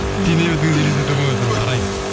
дене бітіміңізді елестете алмай отырмын арай